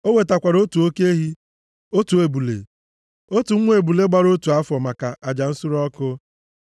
O wetakwara otu oke ehi, otu ebule, otu nwa ebule gbara otu afọ maka aja nsure ọkụ.